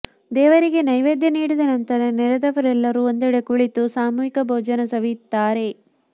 ದೇವರಿಗೆ ನೈವೇದ್ಯ ನೀಡಿದ ನಂತರ ನೆರೆದವರೆಲ್ಲರೂ ಒಂದೆಡೆ ಕುಳಿತು ಸಾಮೂಹಿಕ ಭೋಜನ ಸವಿಯುತ್ತಾರೆ